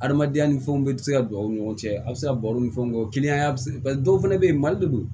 Adamadenya ni fɛnw bɛɛ tɛ se ka don a ni ɲɔgɔn cɛ a bɛ se ka baro ni fɛnw kɛ o kiliyan bɛ se paseke dɔw fana bɛ yen mali de don